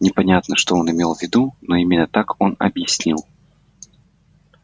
непонятно что он имел в виду но именно так он объяснил